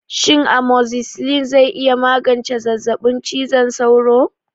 Shin amozzisilin zai iya magance zazzabin cizon sauro?